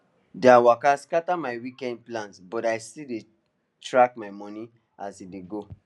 their waka scatter my weekend plans but i still dey track my money as e dey go